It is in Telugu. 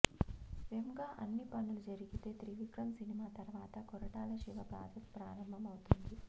వ్యంగా అన్ని పనులు జరిగితే త్రివిక్రమ్ సినిమా తర్వాత కొరటాల శివ ప్రాజెక్ట్ ప్రారంభమవుతుంది